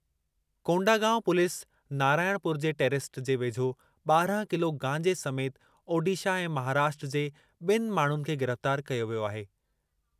Kondagaon police Narayanpur जे टेरस्ते जे वेझो ॿारहं किलो गांजे समेति ओडिशा ऐं महाराष्ट्र जे बि॒नि माण्हुनि खे गिरफ़्तार कयो वियो आहे।